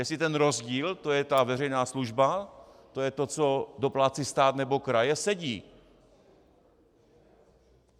Jestli ten rozdíl, to je ta veřejná služba, to je to, co doplácí stát nebo kraje, sedí.